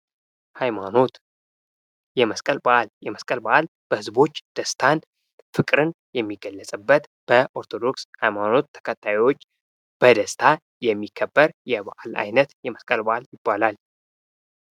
ሐይማኖት የመስቀል በአል የመስቀል በዓል በህዝቦች ደስታን ፍቅርን የሚገለጽብት በኦርቶዶክስ ሃይማኖት ተከታዮች በደስታ የሚከበር የበዓል አይነት የመስቀል በዓል ይባላል።